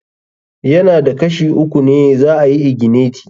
Ya na da Kashi uku ne za ayi igineti.